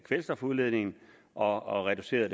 kvælstofudledningen og og reduceret